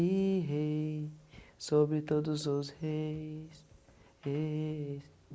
E rei sobre todos os reis... eee,